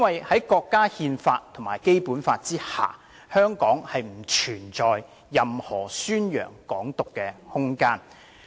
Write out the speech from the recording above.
在國家憲法及《基本法》下，香港不存在任何宣揚"港獨"的空間。